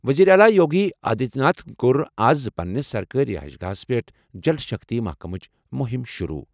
وزیر اعلیٰ یوگی آدتیہ ناتھ کوٚر آز پننہِ سرکٲری رہائش گاہَس پٮ۪ٹھ 'جل شکتی' محکَمٕچ مُہِم شُروٗع۔